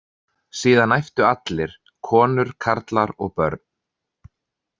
Síðan æptu allir: konur, karlar og börn.